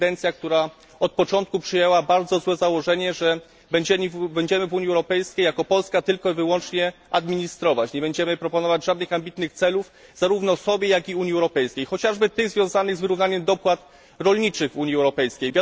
Prezydencja, która od początku przyjęła bardzo złe założenie, że będziemy w Unii Europejskiej jako Polska tylko i wyłącznie administrować, nie będziemy proponować żadnych ambitnych celów ani sobie, ani Unii Europejskiej, chociażby tych związanych z wyrównaniem dopłat rolniczych w Unii Europejskiej.